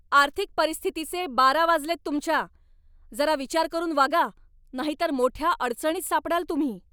आर्थिक परिस्थितीचे बारा वाजलेत तुमच्या! जरा विचार करून वागा नाहीतर मोठ्या अडचणीत सापडाल तुम्ही.